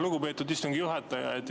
Lugupeetud istungi juhataja!